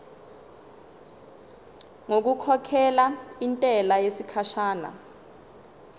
ngokukhokhela intela yesikhashana